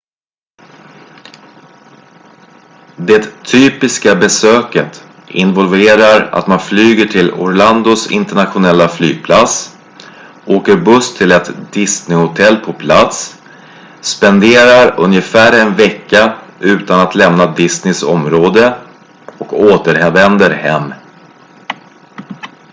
"det "typiska" besöket involverar att man flyger till orlandos internationella flygplats åker buss till ett disneyhotell på plats spenderar ungefär en vecka utan att lämna disneys område och återvänder hem.